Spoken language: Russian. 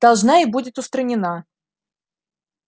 должна и будет устранена